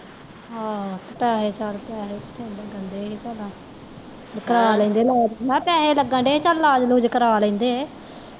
ਆਹੋ ਪੈਸੇ ਛੱਡ ਤੇ ਪੈਸੇ ਲੱਗਣ ਦੇ ਹੀ ਓਹਨਾ ਕਰਾ ਲੈਂਦੇ ਇਲਾਜ਼ ਮੈਂ ਕਿਹਾ ਪੈਸੇ ਲੱਗਣ ਦੇ ਚਾਲ ਇੱਲਾਜ ਉਲੁਜ ਕਰਾ ਲੈਂਦੇ